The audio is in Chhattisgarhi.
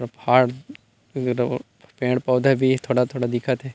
पठार पेड़ पौधे भी हे थोड़े थोड़ा दिखत हे।